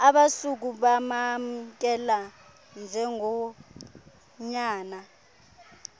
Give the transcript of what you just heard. abasuka bamamkela njengonyana